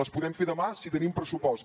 les podem fer demà si tenim pressupost